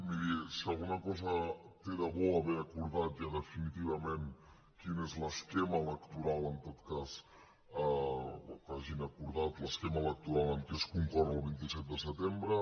miri si alguna cosa té de bo haver acordat ja definitivament quin és l’esquema electoral en tot cas o que hagin acordat l’esquema electoral amb què es concorre al vint set de setembre